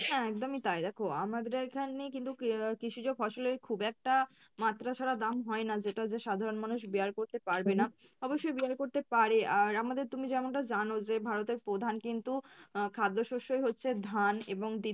হ্যাঁ একদমই তাই দেখো আমাদের এখানে কিন্তু কৃষিজ ফসলের খুব একটা মাত্রা ছাড়া দাম হয়না যেটা যে সাধারন মানুষ bear করতে পারবেনা অবশ্যই bear করতে পারে আর আমাদের তুমি যেমন টা জানো যে ভারতের প্রধান কিন্তু আহ খাদ্যও শস্যই হচ্ছে ধান এবং